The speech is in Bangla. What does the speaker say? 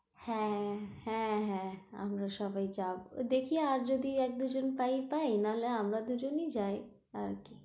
হ্যাঁ, হ্যাঁ হ্যাঁ আমরা সবাই যাবো, দেখি আর যদি এক দু জন পাই-পাই না হলে আমরা দুজনই যাই, আর কি